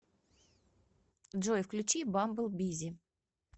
джой включи бамбл бизи